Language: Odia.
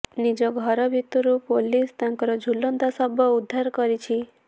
ନିଜ ଘର ଭିତରୁ ପୁଲିସ ତାଙ୍କର ଝୁଲନ୍ତା ଶବ ଉଦ୍ଧାର କରିଛି